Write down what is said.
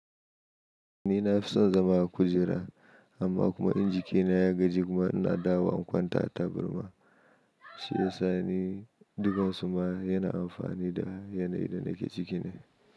Ni na fi son zama a kujera, amma kuma inji kina ya gaji kuma ina dawo wa in kwanta a burma. Shi yasa ni dukansu ma yana amfani da yanayin da nake ciki ne.